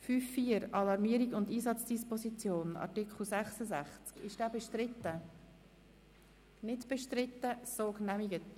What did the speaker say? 5.4 Alarmierung und Einsatzdisposition Art. 66 Angenommen